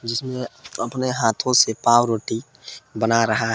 उसमे अपने हाथों से पाव रोटी बना रहा--